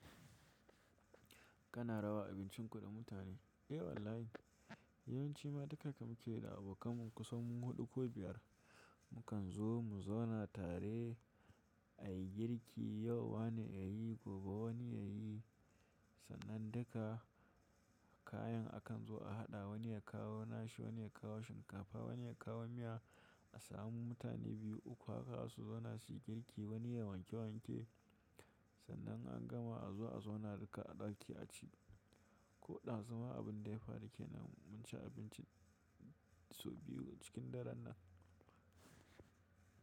Kana raba abincinku da mutane? Eh wallahi. Yawanci ma duka da muka yi da abokanmu kusan huɗu ko biyar. Mukan zo mu zauna tare a yi girki, yau wane ya yi, gobe wani ya yi. Sannan duka kayan akan zo a haɗa wani ya kawo nashi, wani ya kawo shinkafa, wani ya kawo miya. A samu mutane biyu uku haka su zauna su yi girki wani ya wanke wanke. Sannan an gama a zo a zauna duka a ɗaki a ci. Ko ɗazu ma abin da ya faru kenan mun ci abinci sau biyu cikin daren nan.